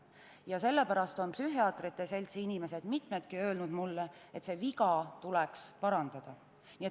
Ja sellepärast on mitmed psühhiaatrite seltsi inimesed mulle öelnud, et see viga tuleks parandada.